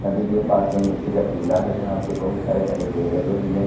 नदी के पास में मिट्टी का टीला है जहां पे बहुत सारे हरे पेड़ लगे हुए हैं।